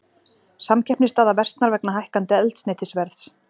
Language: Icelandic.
Samkeppnisstaða versnar vegna hækkandi eldsneytisverðs